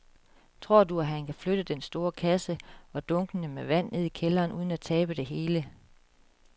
Tror du, at han kan flytte den store kasse og dunkene med vand ned i kælderen uden at tabe det hele?